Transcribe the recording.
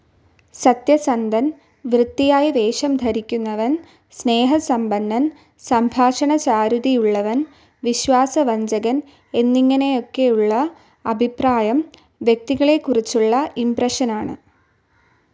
സത്യസന്ധൻ, വൃത്തിയായി വേഷം ധരിക്കുന്നവൻ, സ്നേഹസമ്പന്നൻ, സംഭാഷണചാതുരിയുള്ളവൻ, വിശ്വാസവഞ്ചകൻ എന്നിങ്ങനെയൊക്കെയുള്ള അഭിപ്രായം വ്യക്തികളെക്കുറിച്ചുള്ള ഇംപ്രഷനാണ്.